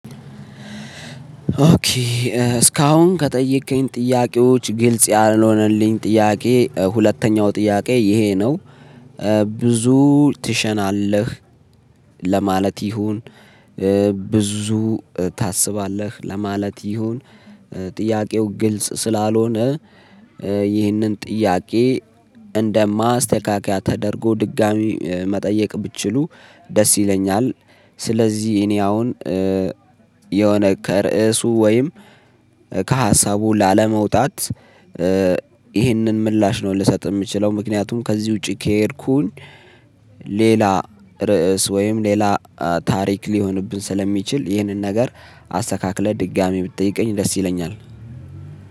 ኦኬ እስካሁን ከጠየከኝ ጥያቄዎች ግልጽ ያልሆነልኝ ጥያቄ ሁለተኛው ጥያቄ ይሄ ነው። ብዙ ትሸናለህ ለማለት ይሁን ብዙ ታስባለህ ለማለት ይሁን ጥያቄው ግልጽ ስላልሆነ ይህንን ጥያቄ እንደ ማስተካከያ ተደርጎ ድጋሚ መጠየቅ ብችሉ ደስ ይለኛል። ስለዚህ እኔ አሁን የሆነ ከርእሱ ወይም ከሀሳቡ ላለመውጣት ይህንን ምላሽ ነው ልሰጥ የምችለው። ምክንያቱም ከዚህ ውጪ ከሄድኩኝ ሌላ ርዕስ ወይም ሌላ ታሪክ ሊሆንብን ስለሚችል ይህንን ነገር አስተካክለህ ድጋሚ ብትጠይቀኝ ደስ ይለኛል።